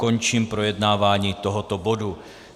Končím projednávání tohoto bodu.